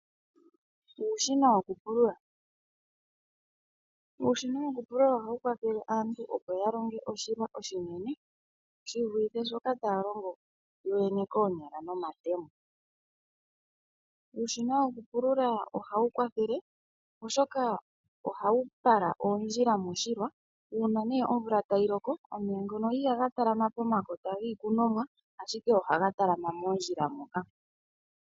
Uushina wokupulula ohawu kwathele aantu opo ya longe oshilwa oshinene shi vulithe shoka taya longo yoyene koonyala nomatemo. Uushina wokupulula ohawu kwathele oshoka ohawu pala oondjila moshilwa uuna ne omvula tayi loko omeya ngono ihaga talama pomakota giikunomwa ashike ohaga talama moondjila moka.